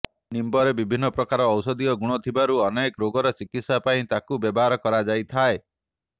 ନିମ୍ବରେ ବିଭିନ୍ନ ପ୍ରକାର ଔଷଧୀୟ ଗୁଣ ଥିବାରୁ ଅନେକ ରୋଗର ଚିକିତ୍ସା ପାଇଁ ତାକୁ ବ୍ୟବହାର କରାଯାଇଥାଏ